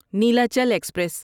Nilachal express